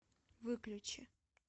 выключи